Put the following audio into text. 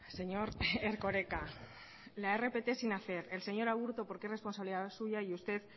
señor erkoreka la rpt sin hacer el señor aburto porque es responsabilidad suya y usted